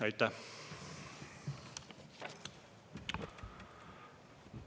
Aitäh!